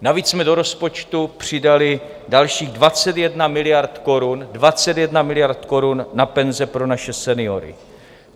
Navíc jsme do rozpočtu přidali dalších 21 miliard korun, 21 miliard korun na penze pro naše seniory.